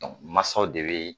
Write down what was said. dɔnk Masaw de bee